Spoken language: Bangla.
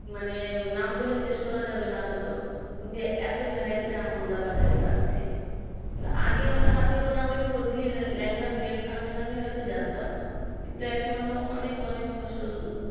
মানে নাম বলে শেষ করা যাবে না হয়তো যে এত variety র আম আমরা বাজারে পাচ্ছি আগে আমরা হাতে গোনা ওই ফজলির ল্যাংড়ার দু একটা আমের নাম হয়তো জানতাম কিন্তু এখন আমরা অনেক অনেক ফসল